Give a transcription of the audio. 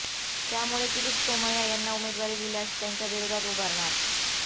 त्यामुळे किरीट सोमय्या यांना उमेदवारी दिल्यास त्यांच्या विरोधात उभारणार